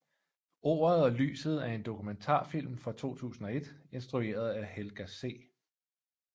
Ordet og lyset er en dokumentarfilm fra 2001 instrueret af Helga C